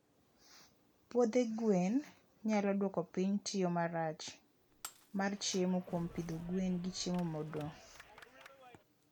puodhe gwen nyalo duoko piny tiyo marach mar chiemo kuom pidho gwen gi chiemo modong